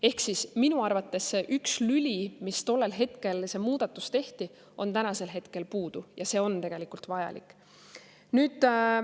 Ehk siis minu arvates see üks lüli, mis tollel ajal, kui see muudatus tehti,, on praegu puudu, aga see on tegelikult vajalik.